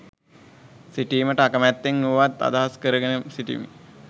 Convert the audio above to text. සිටීමට අකමැත්තෙන් වුවත් අදහස් කරගෙන සිටිමි